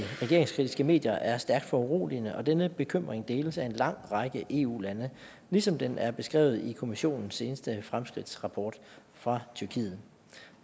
regeringskritiske medier er stærkt foruroligende og denne bekymring deles af en lang række eu lande ligesom den er beskrevet i kommissionens seneste fremskridtsrapport fra tyrkiet